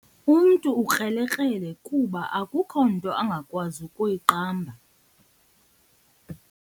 Umntu ukrelekrele kuba akukho nto angakwazi kuyiqamba.